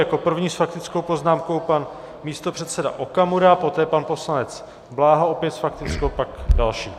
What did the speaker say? Jako první s faktickou poznámkou pan místopředseda Okamura, poté pan poslanec Bláha opět s faktickou a pak další.